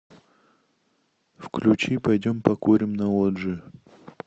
включи пойдем покурим на лоджию